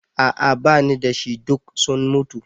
A'a bani dashi, duk sun mutu.